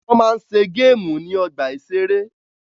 Wọ́n má ń ṣe géèmù ní ọgbà-ìṣeré